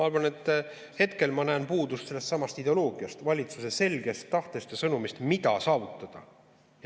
Ma hetkel näen puudust sellestsamast ideoloogiast, valitsuse selgest tahtest ja sõnumist, mida saavutada.